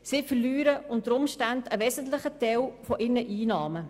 Sie verlieren unter Umständen einen wesentlichen Teil ihrer Einnahmen.